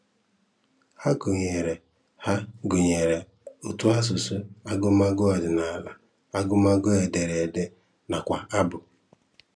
Hà gụ̀nyèrè Hà gụ̀nyèrè ùtòasụ̀sụ́, àgụmagụ̀ ọ̀dị́nàlá, àgụmagụ̀ édèrèdé, nakwa àbù.